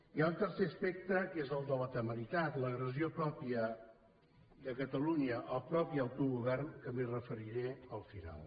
hi ha un tercer aspecte que és el de la temeritat l’agressió pròpia de catalunya al propi autogovern que m’hi referiré al final